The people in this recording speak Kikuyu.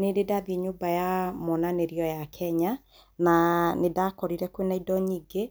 Nĩndĩ ndathiĩ nyũmba ya monanĩrio ya Kenya na nĩndakorire kwĩna indo nyingĩ,